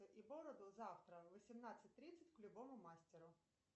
и бороду завтра в восемнадцать тридцать к любому мастеру